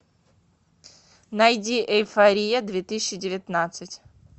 найди эйфория две тысячи девятнадцать